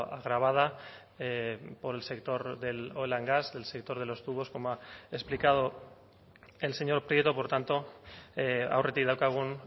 agravada por el sector de oil and gas el sector de los tubos como ha explicado el señor prieto por tanto aurretik daukagun